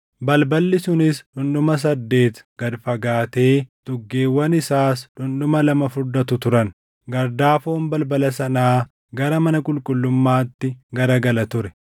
balballi sunis dhundhuma saddeet gad fagaatee tuggeewwan isaas dhundhuma lama furdatu turan. Gardaafoon balbala sanaa gara mana qulqullummaatti garagala ture.